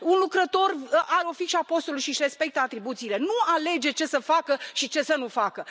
Un lucrător are o fișă a postului și își respectă atribuțiile, nu alege ce să facă și ce să nu facă.